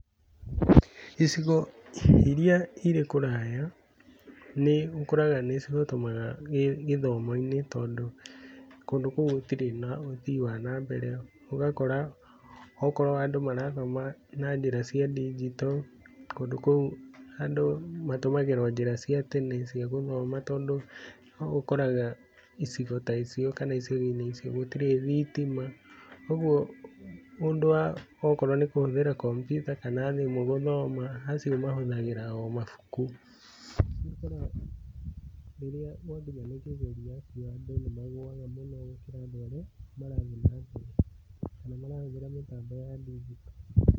Icigo iria irĩ kũraya, nĩ ũkoraga nĩ cihotomaga gĩthomo-inĩ, tondũ kũndũ kũu gũtirĩ na ũthii wa na mbere. Ũgakora okorwo andũ marathoma na njĩra cia ndinjito, kũndũ kũu andũ matũmagíĩra o njĩra cia tene cia gũthoma, tondũ ũkoraga icigo ta icio kana icigo-inĩ icio gũtirĩ thitima. Ũguo ũndũ wa okorwo nĩ kũhũthĩra kompiuta kana thimũ gũthoma, acio mahũthagĩra o mabuku. Ũguo ũgakora rĩrĩa gwakinya nĩ kĩgerio andũ nĩ magũaga mũno gũkĩra andũ arĩa, marathiĩ na mbere kana marahũthĩra mĩtambo ya ndinjito.